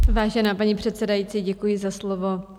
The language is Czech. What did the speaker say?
Vážená paní předsedající, děkuji za slovo.